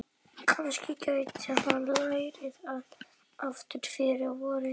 Kannski gæti hann lært það aftur fyrir vorið.